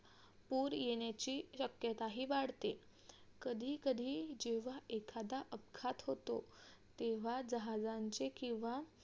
पुर येण्याची शक्य्ताही वाढते कधीकधी जेव्हा एखादा अपघात होतो तेव्हा जहाजांचे किंवा